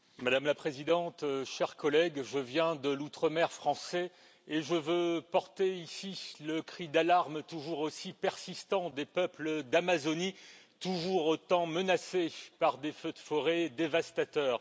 Madame la Présidente, chers collègues, je viens de l'outre mer français et je veux porter ici le cri d'alarme, toujours aussi persistant, des peuples d'Amazonie, toujours autant menacés par des feux de forêt dévastateurs.